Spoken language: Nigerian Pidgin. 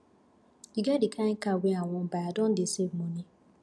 e get di kain car wey i wan buy i don dey save moni